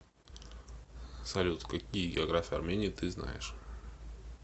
салют какие география армении ты знаешь